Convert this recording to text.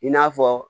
I n'a fɔ